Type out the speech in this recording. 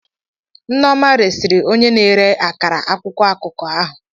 Nneoma resịrị onye na-ere akara akwụkwọ akụkọ ahụ.